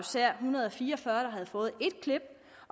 hundrede og fire og fyrre der har fået et klip